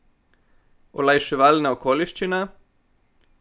Olajševalna okoliščina?